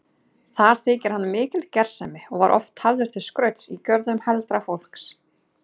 Þar þykir hann mikil gersemi og var oft hafður til skrauts í görðum heldra fólks.